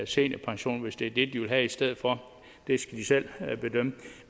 seniorpension hvis det er det de vil have i stedet for det skal de selv bedømme